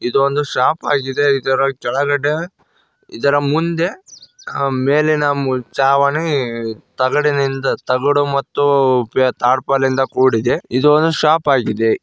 ಇದು ಒಂದು ಶಾಪ್ ಆಗಿದೆ ಇದರ ಕೆಳಗಡೆ ಇದರ ಮುಂದೆ ಅ ಮೇಲಿನ ಮು ಛಾವಣಿ ತಗಡಿನಿಂದ ತಗಡು ಮತ್ತು ಟಾರ್ಪಲ್ ನಿಂದ ಕೂಡಿದೆ ಇದು ಒಂದು ಶಾಪ್ ಆಗಿದೆ.